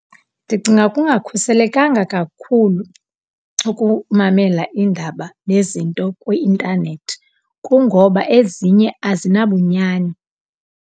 Ndicinga kungakhuselekanga kakhulu ukumamela iindaba nezinto kwi-intanethi kungoba ezinye azinabunyani.